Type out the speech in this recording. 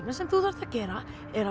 sem þú þarft að gera er að